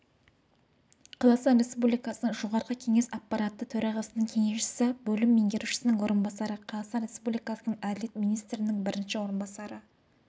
қазақстан республикасының жоғарғы кеңес аппараты төрағасының кеңесшісі бөлім меңгерушісінің орынбасары қазақстан республикасының әділет министрінің бірінші орынбасары